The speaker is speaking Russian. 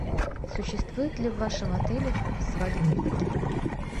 существует ли в вашем отеле свадебный пакет